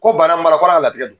Ko baara marakɔrɔ a latigɛ